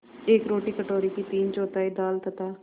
एक रोटी कटोरे की तीनचौथाई दाल तथा